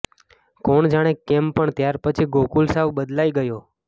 કોણ જાણે કેમ પણ ત્યારપછી ગોકુલ સાવ બદલાઈ ગયો